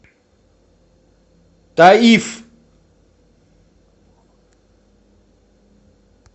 таиф